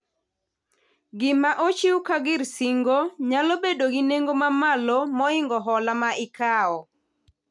Gima ochiw ka gir singo nyalo bedo gi nengo ma malo moingo hola ma ikawo